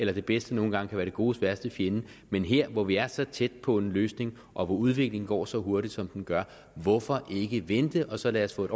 det bedste nogle gange kan være det godes værste fjende men her hvor vi er så tæt på en løsning og hvor udviklingen går så hurtigt som den gør hvorfor ikke vente og så lade os få et